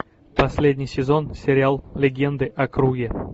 последний сезон сериал легенды о круге